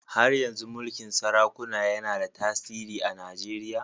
Har yanzu mulkin sarakuna yana da tasiri a Najeriya.